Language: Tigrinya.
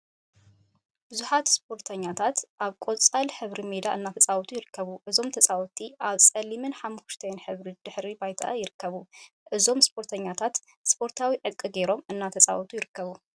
ቡዙሓት ስፖርተኛታት አብ ቆፃል ሕብሪ ሜዳ እናተፃወቱ ይርከቡ። እዞም ተፃወቲ አብፀሊምን ሓመኩሽታይን ሕብሪ ድሕረ ባይታ ይርከቡ። እዞም ስፖርተኛታት ስፖርታዊ ዕጥቂ ገይሮም እናተፃወቱ ይርከቡ።